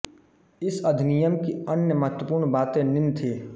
इस अधिनियम की अन्य महत्वपूर्ण बातें निम्न थींः